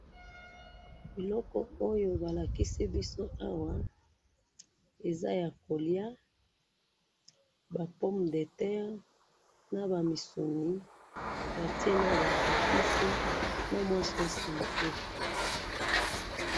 eloko oyo balakisi biso awa eza ya koliya ba pomme de tere naba misuni batiye naba epice batiye na sauce mouke